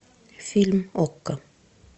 фильм окко